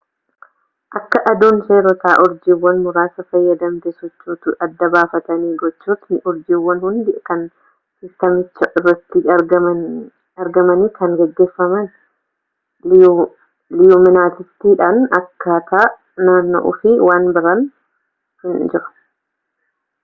akka aduun seerota urjiiwwan muraasa fayyadamte sochootu adda baafatani gochootni urjiiwwan hundi kan siistamicha irratti argamani kan gaggeeffamaan liyuminisitiidhani akkaataa naanna'uu fi waan biraan hin jiru